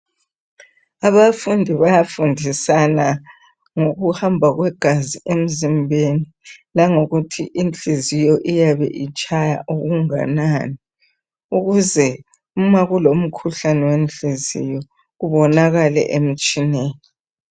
Abafundi bayafundisana ngokuhamba kwegazi emzimbeni langokuthi inhliziyo iyabe itshaya okunganani ukuze uma kulomkhuhlane wenhliziyo ubonakale emtshineni.